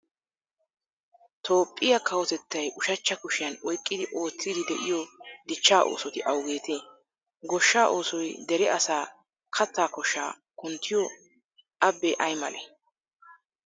Toophphiya kawotettay ushachcha kushiyan oyqqidi oottiiddi de'iyo dichchaa oosoti awugeetee? Goshshaa oosoy dere asaa kattaa koshshaa kunttiyo abbee ay malee?